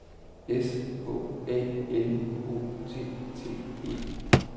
C H A L O T T E